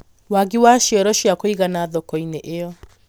wagĩ wa cioro cia kũigana thoko-inĩ ĩyo